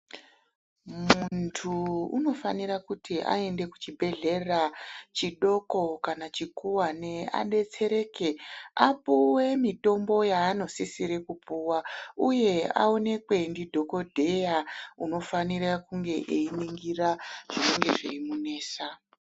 Muntu unofanira kuti aende kuchibhehlera chidoko kana chikuwane adetsereke, apuwe mitombo yaanosisire kupuwa uye aonekwe ndidhokodheya unofanira kunge ainingira zvinofana kunge zveimunesa.